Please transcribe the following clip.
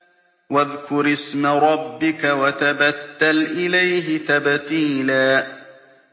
وَاذْكُرِ اسْمَ رَبِّكَ وَتَبَتَّلْ إِلَيْهِ تَبْتِيلًا